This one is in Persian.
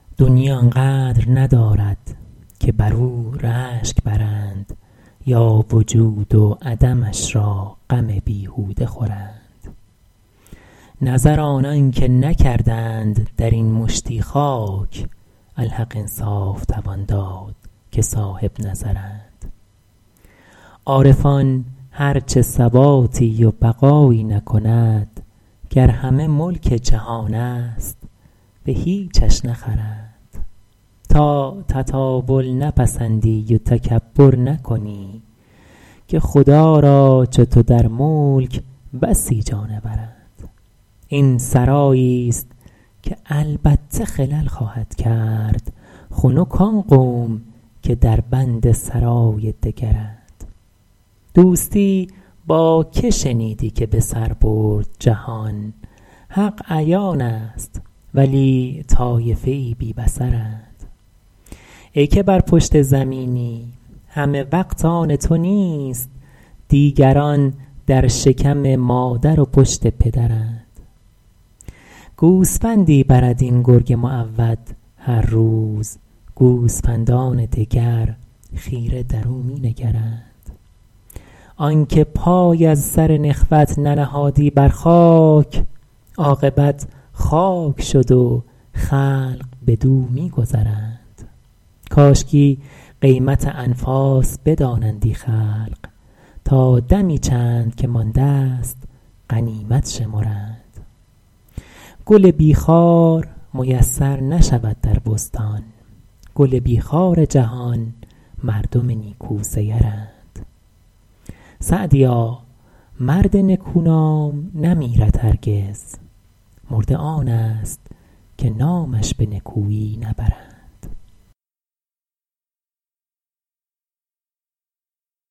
دنیی آن قدر ندارد که بر او رشک برند یا وجود و عدمش را غم بیهوده خورند نظر آنان که نکردند در این مشتی خاک الحق انصاف توان داد که صاحبنظرند عارفان هر چه ثباتی و بقایی نکند گر همه ملک جهان است به هیچش نخرند تا تطاول نپسندی و تکبر نکنی که خدا را چو تو در ملک بسی جانورند این سراییست که البته خلل خواهد کرد خنک آن قوم که در بند سرای دگرند دوستی با که شنیدی که به سر برد جهان حق عیان است ولی طایفه ای بی بصرند ای که بر پشت زمینی همه وقت آن تو نیست دیگران در شکم مادر و پشت پدرند گوسفندی برد این گرگ معود هر روز گوسفندان دگر خیره در او می نگرند آن که پای از سر نخوت ننهادی بر خاک عاقبت خاک شد و خلق بدو می گذرند کاشکی قیمت انفاس بدانندی خلق تا دمی چند که مانده ست غنیمت شمرند گل بی خار میسر نشود در بستان گل بی خار جهان مردم نیکوسیرند سعدیا مرد نکو نام نمیرد هرگز مرده آن است که نامش به نکویی نبرند